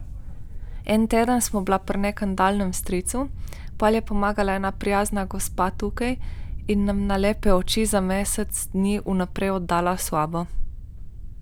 En teden sva bila pri nekem daljnem stricu, potem je pomagala ena prijazna gospa tukaj in nama na lepe oči za mesec dni vnaprej oddala sobo.